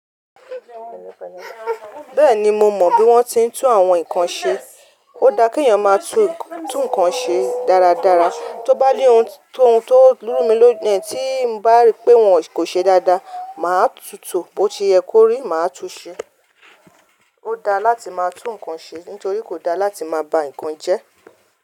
Bẹ́ẹ̀ni mo mọ bí wọ́n ti ń tú àwọn nǹkan ṣe. Ó da kí èèyàn máa tú nǹkan ṣe dáradára. Tó bá ní ohun tó lú mi lón tí ń bá rí pé wọn kò ṣe dáadáa, màá tun tó bo se yẹ kó rí, màá tú u ṣe. Ó da láti máa tún ǹkan ṣe nítorí kò da láti máa ba ǹkan jẹ́.